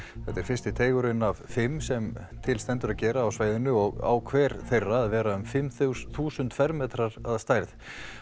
þetta er fyrsti af fimm sem til stendur að gera á svæðinu og á hver þeirra að vera um fimm þúsund þúsund fermetrar að stærð